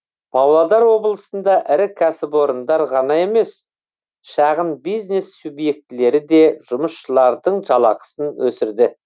павлодар облысында ірі кәсіпорындар ғана емес шағын бизнес субьектілері де жұмысшылардың жалақысын өсірді